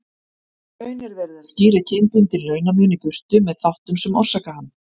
Í raun er verið að skýra kynbundinn launamun í burtu með þáttum sem orsaka hann.